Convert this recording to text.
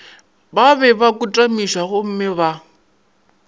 ba be ba kotamišwagomme ba